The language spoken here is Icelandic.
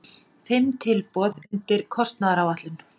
Fimm tilboð undir kostnaðaráætlun